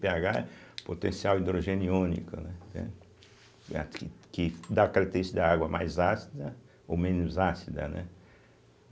pêagá é potencial hidrogênio iônico, né, entende, que que dá a característica da água mais ácida ou menos ácida, né.